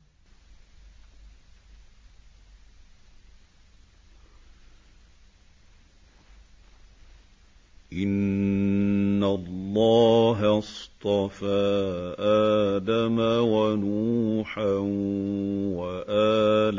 ۞ إِنَّ اللَّهَ اصْطَفَىٰ آدَمَ وَنُوحًا وَآلَ